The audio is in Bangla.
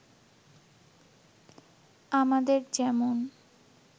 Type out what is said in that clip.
“আমাদের যেমন